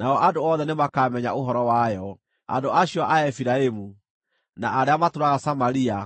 Nao andũ othe nĩmakamenya ũhoro wayo, andũ acio a Efiraimu, na arĩa matũũraga Samaria,